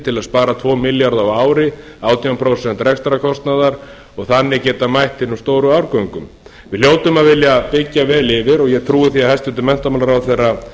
til að spara tvo milljarða á ári átján prósent rekstrarkostnaðar og þannig geta mætt hinum stórum árgöngum við hljótum að vilja byggja vel yfir og ég trúi því að hæstvirtur menntamálaráðherra